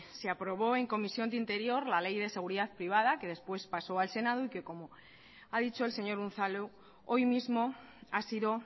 se aprobó en comisión de interior la ley de seguridad privada que después pasó al senado y que como ha dicho el señor unzalu hoy mismo ha sido